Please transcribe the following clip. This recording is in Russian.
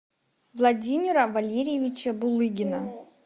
владимира валерьевича булыгина